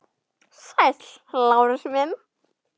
Sæll, Lárus minn.